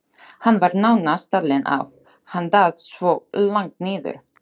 Hann var nánast talinn af, hann datt svo langt niður.